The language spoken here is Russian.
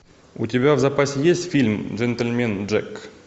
у тебя в запасе есть фильм джентльмен джек